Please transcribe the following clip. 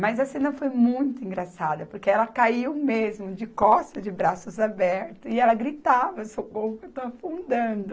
Mas a cena foi muito engraçada, porque ela caiu mesmo, de costas, de braços abertos, e ela gritava, socorro que eu estou afundando.